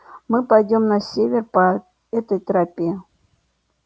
мы пойдём на север по этой тропе